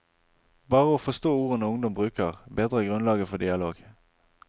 Bare å forstå ordene ungdom bruker, bedrer grunnlaget for dialog.